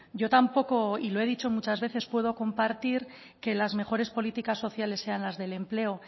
yo tampoco y lo he dicho muchas veces puedo compartir que las mejores políticas sociales sean las del empleo